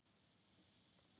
Hann hafði klúðrað öllu.